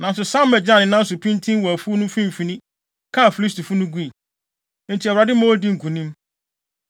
nanso Sama gyinaa ne nan so pintinn wɔ afuw no mfimfini, kaa Filistifo no gui. Enti Awurade ma odii nkonim.